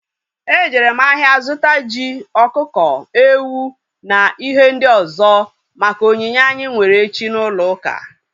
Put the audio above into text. E jere m ahịa zụta ji, ọkụkọ, ewu na ihe ndị ọzọ maka onyinye anyị nwere echi n'ulouka